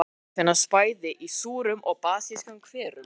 Lífverur finnast bæði í súrum og basískum hverum.